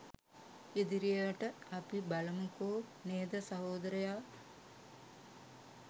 ඉදිරියට අපි බලමුකෝ නේද සහෝදරයා